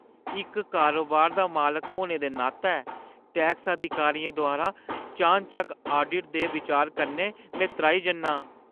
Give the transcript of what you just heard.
इक कारोबार दा मालक होने दे नातै, टैक्स अधिकारियें द्वारा चानचक्क आडिट दे बिचार कन्नै में त्राही जन्नां।